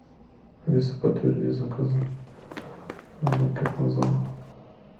алиса подтверди заказы банкетного зала